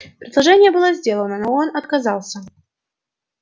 предложение было сделано но он отказался